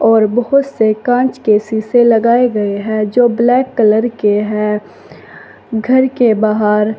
और बहुत से कांच के शीशे लगाए गए है जो ब्लैक कलर के है घर के बाहर--